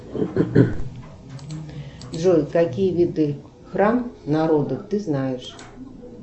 джой какие виды храм народа ты знаешь